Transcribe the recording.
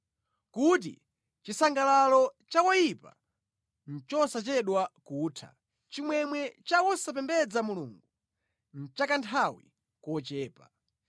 kuti chisangalalo cha woyipa nʼchosachedwa kutha, chimwemwe cha wosapembedza Mulungu nʼchakanthawi kochepa.